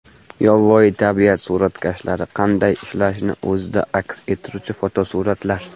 Yovvoyi tabiat suratkashlari qanday ishlashini o‘zida aks ettiruvchi fotosuratlar.